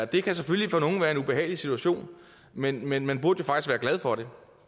det kan selvfølgelig for nogle være en behagelig situation men men man burde faktisk være glad for